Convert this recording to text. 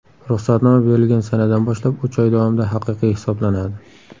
Ruxsatnoma berilgan sanadan boshlab uch oy davomida haqiqiy hisoblanadi.